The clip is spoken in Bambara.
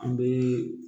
An bɛ